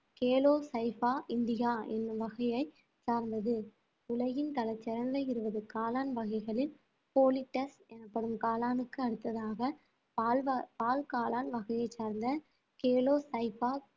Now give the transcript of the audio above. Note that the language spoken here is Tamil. கேலோஸைபா இண்டிகா என்னும் வகையை சார்ந்தது உலகின் பல சிறந்த இருபது காளான் வகைகளில் folitas எனப்படும் காளானுக்கு அடுத்ததாக பால் வ~ பால்காளான் வகையைச் சார்ந்த கேலோஸைபா